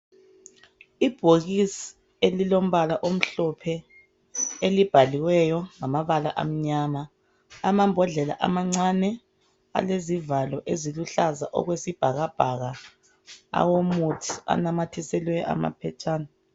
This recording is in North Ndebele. Ibhokisi elilombala omhlophe elibhaliweyo ngamabala amnyama. Amambodlela amancane alezivalo eziluhlaza okwesibhakabhaka awomuthi anamathiselwe amaphetshana.